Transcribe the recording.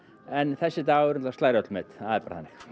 en þessi dagur slær öll met það er bara þannig